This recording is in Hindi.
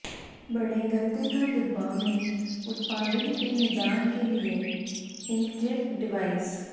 बड़े गत्ते का डिब्बा में उत्पादन के निदान के लिए इंकजेट डिवाइस